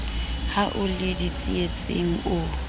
ha o ie ditsietsing o